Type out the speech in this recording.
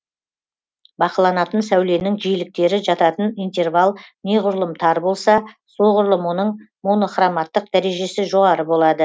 бақыланатын сәуленің жиіліктері жататын интервал неғұрлым тар болса соғұрлым оның монохроматтық дәрежесі жоғары болады